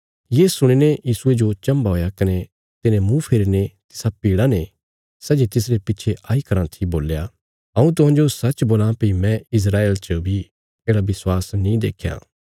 ये सुणीने यीशुये जो चम्भा हुया कने तिने मुँह फेरीने तिसा भीड़ा ने सै जे तिसरे पिच्छे आई कराँ थी बोल्या हऊँ तुहांजो सच्च बोलां भई मैं इस्राएल च बी येढ़ा विश्वास नीं देख्या